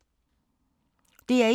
DR1